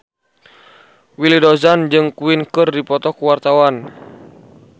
Willy Dozan jeung Queen keur dipoto ku wartawan